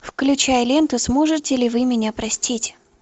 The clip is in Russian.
включай ленту сможете ли вы меня простить